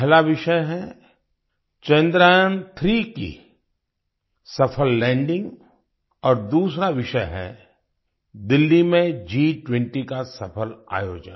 पहला विषय है चंद्रयान3 की सफल लैंडिंग और दूसरा विषय है दिल्ली में G20 का सफल आयोजन